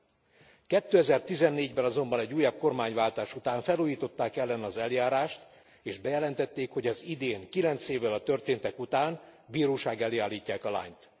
2014 ben azonban, egy újabb kormányváltás után felújították ellene az eljárást és bejelentették, hogy az idén, kilenc évvel a történtek után bíróság elé állítják a lányt.